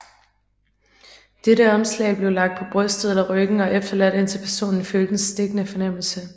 Dette omslag blev lagt på brystet eller ryggen og efterladt indtil personen følte en stikkende fornemmelse